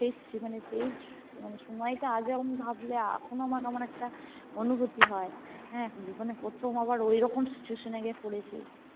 সেই মানে সেই মানে সময়টা আজ ও ভাবলে এখনো আমার কেমনেকটা অনুভূতি হয় হ্যাঁ জীবনে প্রথম আবার ঐরকম Situation এ গিয়ে পড়েছি